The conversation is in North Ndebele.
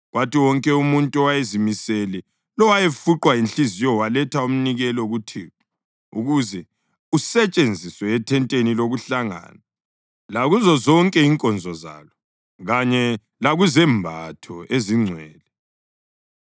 kwathi wonke umuntu owayezimisele lowayefuqwa yinhliziyo waletha umnikelo kuThixo ukuze usetshenziswe ethenteni lokuhlangana lakuzo zonke inkonzo zalo, kanye lakuzembatho ezingcwele.